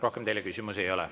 Rohkem teile küsimusi ei ole.